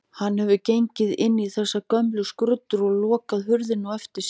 Hann hefur gengið inn í þessar gömlu skruddur og lokað hurðinni á eftir sér.